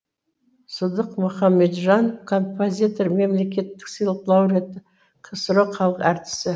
сыдық мұхамеджанов композитор мемлекеттік сыйлық лауреаты ксро халық әртісі